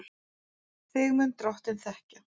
Þig mun Drottinn þekkja.